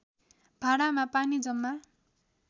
भाँडामा पानी जम्मा